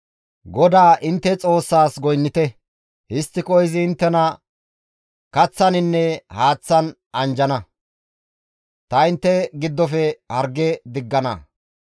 GODAA intte Xoossaas goynnite; histtiko, izi inttena kaththaninne haaththan anjjana; ta intte giddofe harge diggana.